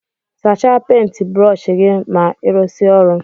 Sacha penti brọsh gi ma irụsie ọrụ.